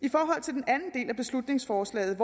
i del af beslutningsforslaget